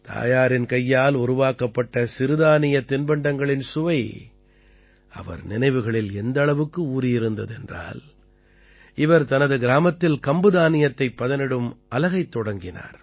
தாயாரின் கையால் உருவாக்கப்பட்ட சிறுதானியத் தின்பண்டங்களின் சுவை அவர் நினைவுகளில் எந்த அளவுக்கு ஊறியிருந்தது என்றால் இவர் தனது கிராமத்தில் கம்பு தானியத்தைப் பதனிடும் அலகைத் தொடங்கினார்